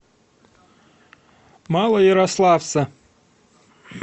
малоярославца